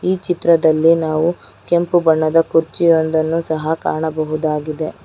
ಈ ಚಿತ್ರದಲ್ಲಿ ನಾವು ಕೆಂಪು ಬಣ್ಣದ ಕುರ್ಚಿಯೊಂದನ್ನು ಸಹ ಕಾಣಬಹುದು.